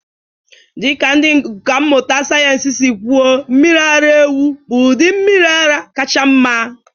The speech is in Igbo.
Dị ka ndị ọkà mmụta sayensị si kwuo, mmiri ara ewu bụ ụdị mmiri ara kacha mma.